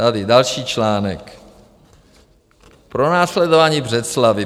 Tady další článek: Pronásledování v Břeclavi.